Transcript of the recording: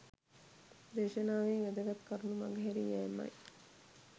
දේශනාවේ වැදගත් කරුණු මඟ හැරී යෑම යි.